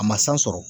A ma san sɔrɔ